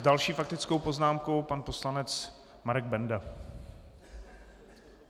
S další faktickou poznámkou pan poslanec Marek Benda.